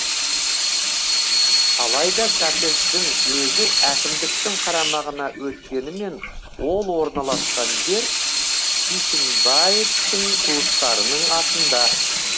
алайда коттедждің өзі әкімдіктің қарамағына өткенімен ол орналасқан жер бишімбаевтың туыстарының атында